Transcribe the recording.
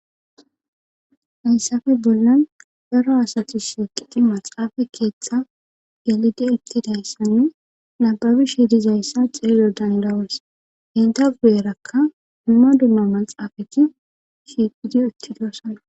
Hayssafe bollan baro asatu siiqiti maxaafa keeththa galidi ettidayssanne nababi shidizayssa xililo dandawos henta gu7erakka umma dumma maxaafati shiiqidi uttidosana.